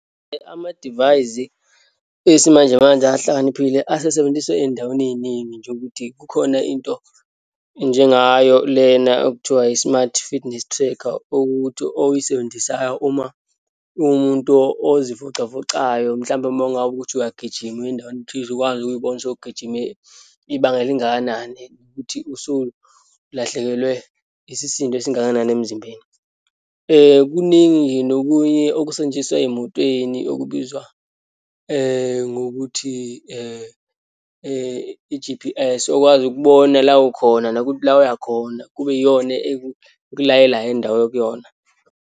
Amadivayisi esimanjemanje ahlakaniphile asesebenziswa eyindaweni eyiningi, njengokuthi kukhona into njengayo lena okuthiwa i-smart fitness tracker, ukuthi oyisebenzisayo uma uwumuntu ozivocavocayo, mhlampe uma ngabe ukuthi uyagijima, uye endaweni thize, ukwazi ukuyibona usowugijime ibanga elingakanani, ukuthi usulahlekelwe isisindo esingakanani emzimbeni. Kuningi-ke nokunye okusetshenziswa eyimotweni okubizwa ngokuthi i-G_P_S, okwazi ukubona la ukhona nokuthi la uyakhona, kube iyona-ke ukulayelayo indawo okuyona.